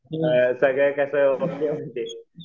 सगळं कसं